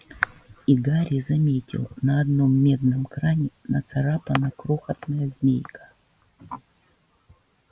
и гарри заметил на одном медном кране нацарапана крохотная змейка